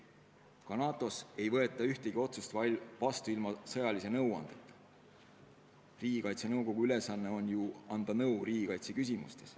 Ka NATO-s ei võeta ühtegi otsust vastu ilma sõjalise nõuandeta ja Riigikaitse Nõukogu ülesanne on ju anda nõu riigikaitse küsimustes.